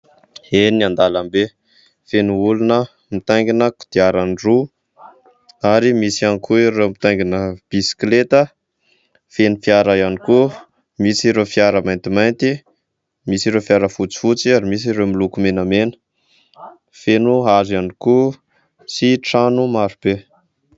Eny an-dàlambe, feno olona mitaingina kodiaran-droa ary misy ihany koa ireo mitaingina bisikileta. Feno fiara ihany koa, misy ireo fiara maintimainty, misy ireo fiara fotsifotsy ary misy ireo miloko menamena. Feno hazo ihany koa sy trano marobe.